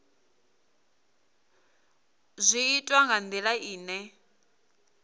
zwi itwa nga ndila ine